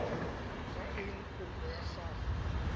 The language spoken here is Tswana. ya eng kopo ya gago